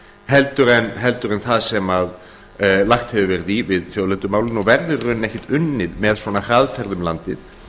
heldur en það sem lagt hefur verið í við þjóðlendumálið og verður í rauninni ekki unnið með þessari hraðferð um landið